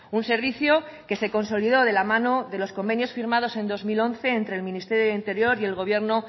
un servicio que se consolidó de la mano de los convenios firmados en dos mil once entre el ministerio de interior y el gobierno